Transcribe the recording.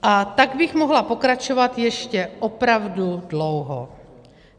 A tak bych mohla pokračovat ještě opravdu dlouho.